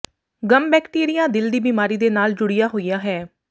ਗੱਮ bacteria ਦਿਲ ਦੀ ਬਿਮਾਰੀ ਦੇ ਨਾਲ ਜੁੜਿਆ ਹੋਇਆ ਹੈ